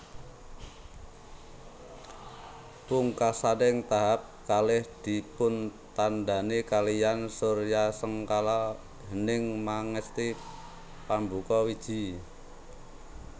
Pungkasaning tahap kalih dipuntandhani kaliyan suryasengkala Hening Mangesti Pambuka Wiji